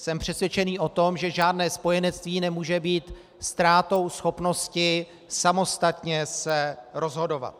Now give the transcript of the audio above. Jsem přesvědčený o tom, že žádné spojenectví nemůže být ztrátou schopnosti samostatně se rozhodovat.